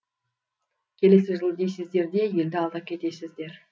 келесі жылы дейсіздер де елді алдап кетесіздер